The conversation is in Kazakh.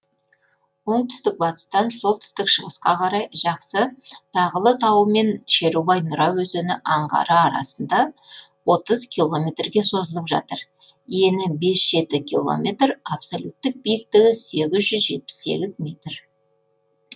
оңтүстік батыстан солтүстік шығысқа қарай жақсы тағылы тауы мен шерубай нұра өзені аңғары арасында отыз километр ге созылып жатыр ені бес жеті километр абсолюттік биіктігі сегіз жүз жетпіс сегіз метр